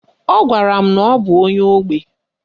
Ọ gwara m na ọ bụ onye ógbè.